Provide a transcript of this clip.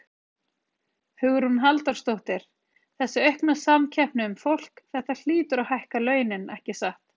Hugrún Halldórsdóttir: Þessi aukna samkeppni um fólk, þetta hlýtur að hækka launin, ekki satt?